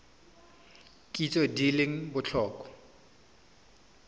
kitso tse di leng botlhokwa